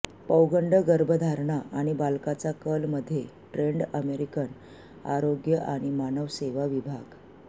पौगंड गर्भधारणा आणि बालकाचा कल मध्ये ट्रेन्ड अमेरिकन आरोग्य आणि मानव सेवा विभाग